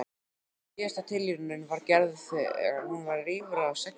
Síðasta tilraunin var gerð þegar hún var rífra sextán ára.